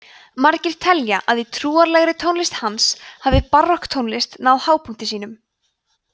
margir telja að í trúarlegri tónlist hans hafi barokktónlist náð hápunkti sínum